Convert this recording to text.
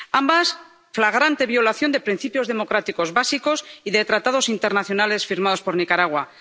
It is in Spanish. ambas, flagrante violación de principios democráticos básicos y de tratados internacionales firmados por Nicaragua